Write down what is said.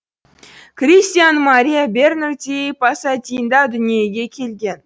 кристиан мария бернарди пасадинда дүниеге келген